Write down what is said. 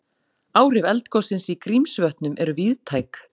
Áhrif eldgossins í Grímsvötnum eru víðtæk